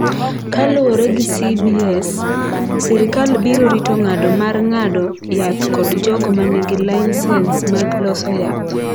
Kaluwore gi CBS, sirkal biro rito ng’ado mar ng’ado yath kod jogo ma nigi laisens mag loso yath.